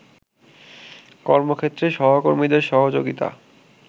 কর্মক্ষেত্রে সহকর্মীদের সহযোগিতা